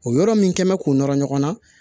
O yɔrɔ min kɛn bɛ k'o nɔrɔ ɲɔgɔn na